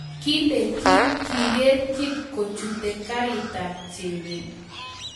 Kile Kim kigeer kip kochute garitab chebet